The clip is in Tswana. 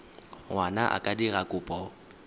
ngwana a ka dira kopo